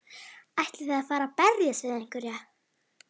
Ætlið þið að fara að berjast við einhverja?